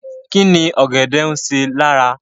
Kíni ọ̀gẹ̀dẹ̀ ń ṣe lára?